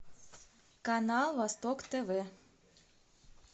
канал восток тв